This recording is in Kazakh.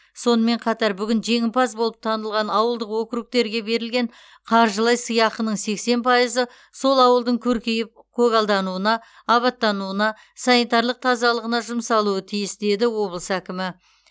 сонымен қатар бүгін жеңімпаз болып танылған ауылдық округтерге берілген қаржылай сыйақының сексен пайызы сол ауылдың көркейіп көгалдануына абаттануына санитарлық тазалығына жұмсалуы тиіс деді облыс әкімі